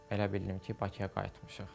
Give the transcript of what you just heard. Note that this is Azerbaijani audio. Belə bildim ki, Bakıya qayıtmışıq.